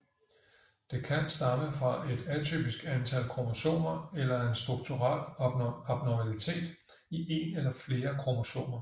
Det kan stamme fra et atypisk antal kromosomer eller en strukturel abnormalitet i en eller flere kromosomer